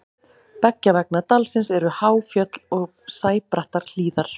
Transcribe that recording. beggja vegna dalsins eru há fjöll og sæbrattar hlíðar